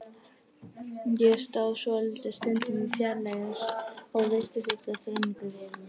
Ég stóð svolitla stund í fjarlægð og virti þessa þrenningu fyrir mér.